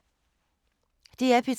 DR P3